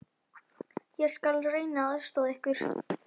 Ég skal reyna að aðstoða ykkur.